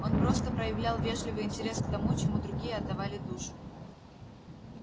он просто проявлял вежливый интерес к тому чему другие отдавали душу